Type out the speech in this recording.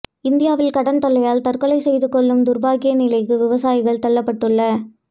இந்தியாவில் கடன் தொல்லையால் தற்கொலை செய்துக் கொள்ளும் துர்ப்பாக்கிய நிலைக்கு விவசாயிகள் தள்ளப்பட்டுள